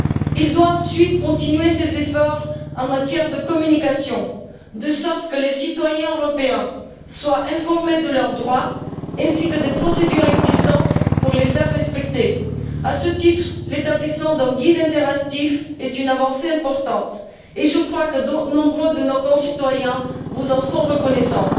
Il doit ensuite continuer ses efforts en matière de communication, de sorte que les citoyens européens soient informés de leurs droits ainsi que des procédures existantes pour les faire respecter. À ce titre, l'établissement d'un guide interactif est une avancée importante et je crois que nombre de nos concitoyens vous en sont reconnaissants.